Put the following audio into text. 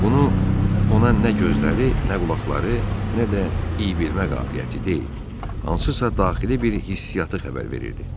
Bunu ona nə gözləri, nə qulaqları, nə də iyi bilmə qabiliyyəti deyil, hansısa daxili bir hissiyyatı xəbər verirdi.